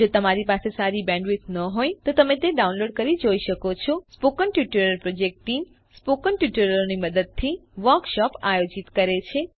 જો તમારી પાસે સારી બેન્ડવિડ્થ ન હોય તો તમે ડાઉનલોડ કરી તે જોઈ શકો છો spoken tutorial project team spoken ટ્યુટોરીયલોની મદદથી વર્કશોપ આયોજિત કરે છે